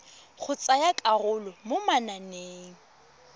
go tsaya karolo mo mananeng